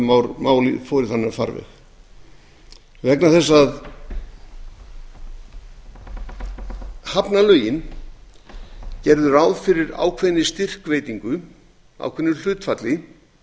í þann farveg vegna þess að í hafnalögunum er gert ráð fyrir ákveðinni styrkveitingu ákveðnu hlutfalli